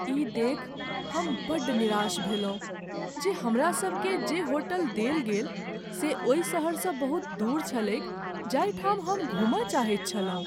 ई देखि हम बड़ निराश भेलहुँ जे हमरासभकेँ जे होटल देल गेल से ओहि सहरसँ बहुत दूर छलैक जाहिठाम हम घूमय चाहैत छलहुँ।